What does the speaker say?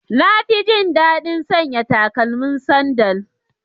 Na fi jin daɗin sanya takalmin sandal.